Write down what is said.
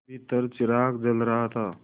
भीतर चिराग जल रहा था